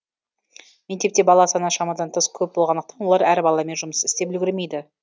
мектепте бала саны шамадан тыс көп болғандықтан олар әр баламен жұмыс істеп үлгермейді